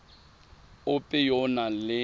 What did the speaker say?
ope yo o nang le